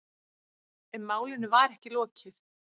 En málinu var ekki lokið.